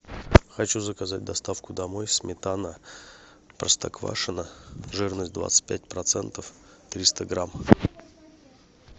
хочу заказать доставку домой сметана простоквашино жирность двадцать пять процентов триста грамм